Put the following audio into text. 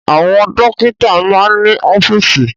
Àwọn dọ́kítá máa ń ní ọ́fíísì.